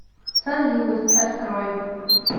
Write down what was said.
сонливость открой